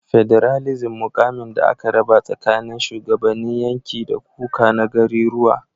federalism mukamin da aka raba tsakanin shugabannin yanki dakuka na gariruwa